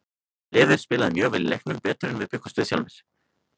Liðið spilaði mjög vel í leiknum, betur en við bjuggumst sjálfir við.